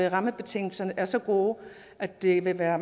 rammebetingelserne er så gode at det vil være